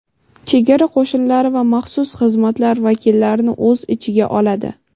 chegara qo‘shinlari va maxsus xizmatlar vakillarini o‘z ichiga oladi.